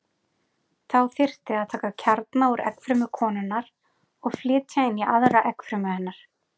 Þá þyrfti að taka kjarna úr eggfrumu konunnar og flytja inn í aðra eggfrumu hennar.